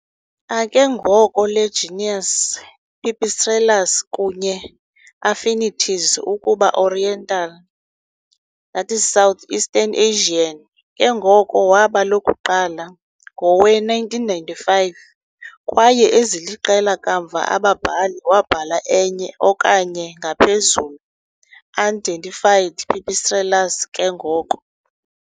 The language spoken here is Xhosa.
A ke ngoko le genus "Pipistrellus" kunye affinities ukuba Oriental that is southeastern Asian ke ngoko waba lokuqala ngowe-1995, kwaye eziliqela kamva ababhali wabhala enye okanye ngaphezulu unidentified "Pipistrellus" ke ngoko.